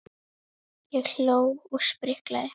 Ég hló og spriklaði.